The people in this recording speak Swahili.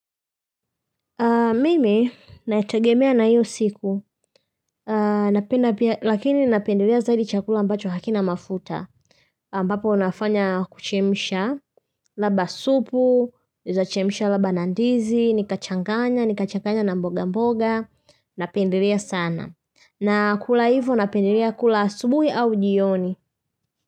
Mimi nategemea na hiyo siku, lakini napendelea zaidi chakula ambacho hakina mafuta, ambapo unafanya kuchemsha, labda supu, unaezachemsha labda na ndizi, nikachanganya, nikachanganya na mboga mboga, napendelea sana. Na kula hivyo napendelea kula asubuhi au jioni.